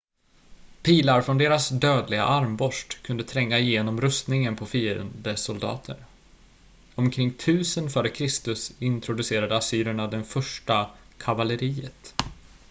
pilar från deras dödliga armborst kunde tränga igenom rustningen på fiendesoldater omkring 1000 f.kr introducerade assyrerna det första kavalleriet